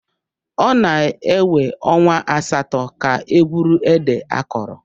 Ọ na-ewe ọnwa asatọ ka e gwuru ede akọrọ.